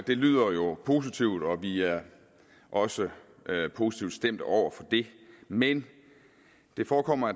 det lyder jo positivt og vi er også positivt stemt over for det men det forekommer